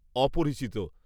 অপরিচিত।